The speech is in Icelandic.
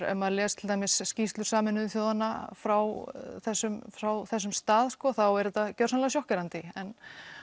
ef maður les til dæmis skýrslur sameinuðu þjóðanna frá þessum frá þessum stað þá er þetta gjörsamlega sjokkerandi en